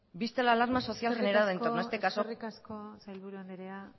vista la alarma social generada entorno a este caso eskerrik asko eskerrik asko sailburu andrea